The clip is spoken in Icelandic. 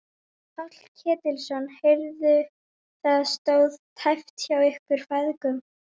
Páll Ketilsson: Heyrðu það stóð tæpt hjá ykkur feðgum?